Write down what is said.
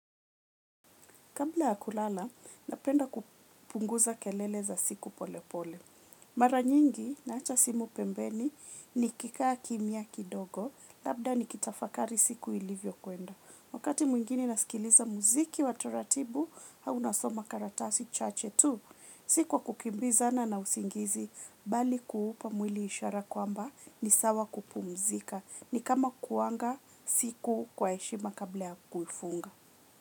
Kabla ya kulala, napenda kupunguza kelele za siku pole pole. Maranyingi naacha simu pembeni ni kikaa kimya kidogo, labda ni kitafakari siku ilivyo kuenda. Wakati mwingine nasikiliza muziki wataratibu, au nasoma karatasi chache tu. Sikwakukimbizana na usingizi, bali kuupa mwili ishara kwamba ni sawa kupumzika. Ni kama kuaga siku kwa heshima kabla ya kuifunga.